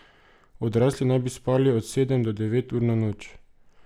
Odrasli naj bi spali od sedem do devet ur na noč.